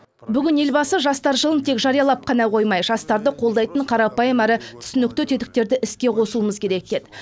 бүгін елбасы жастар жылын тек жариялап қана қоймай жастарды қолдайтын қарапайым әрі түсінікті тетіктерді іске қосуымыз керек деді